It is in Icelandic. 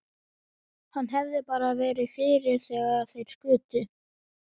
Hann hefði bara verið fyrir þegar þeir skutu.